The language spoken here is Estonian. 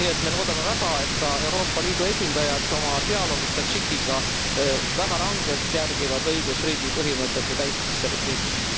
Nii et me loodame väga, et ka Euroopa Liidu esindajad oma dialoogis Tadžikiga järgivad väga rangelt õigusriigi põhimõtete täitmist selles riigis.